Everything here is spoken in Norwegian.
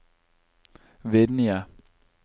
Vinje